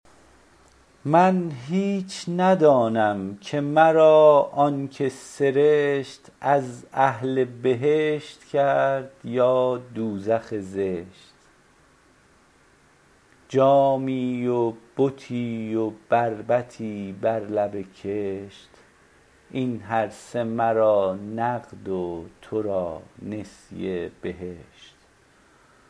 من هیچ ندانم که مرا آنکه سرشت از اهل بهشت کرد یا دوزخ زشت جامی و بتی و بربطی بر لب کشت این هر سه مرا نقد و تو را نسیه بهشت